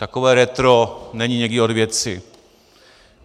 Takové retro není někdy od věci.